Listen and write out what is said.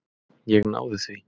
Ég náði því.